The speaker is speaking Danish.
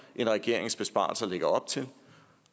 regeringens besparelser lægger op til